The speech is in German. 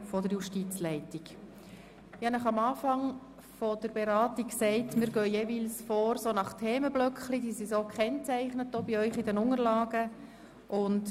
Ich habe zu Beginn der Beratungen gesagt, dass wir jeweils nach Themenblöcken vorgehen werden.